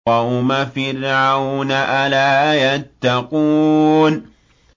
قَوْمَ فِرْعَوْنَ ۚ أَلَا يَتَّقُونَ